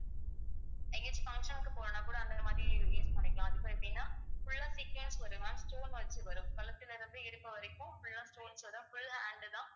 எங்கேயாச்சும் function க்கு போகணும்ன்னா கூடஅந்த மாதிரி use பண்ணிக்கலாம் அதுக்கும் எப்படின்னா full ஆ வரும் ma'am stone வச்சு வரும் கழுத்திலே இருந்து இடுப்பு வரைக்கும் full ஆ stones வரும் full ஆ hand உ தான்